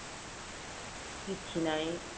କିଛି ନାଇଁ